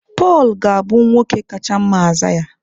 Pọl ga-abụ nwoke kacha mma Aịzaya.